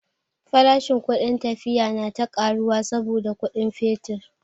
Farashin kudin tafiya na ta karuwa saboda kudin fetur.